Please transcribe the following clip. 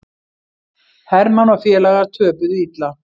Hermann og félagar töpuðu illa